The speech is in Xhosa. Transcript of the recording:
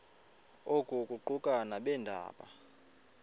oku kuquka nabeendaba